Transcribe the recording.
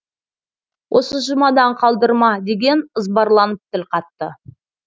осы жұмадан қалдырма деген ызбарланып тіл қатты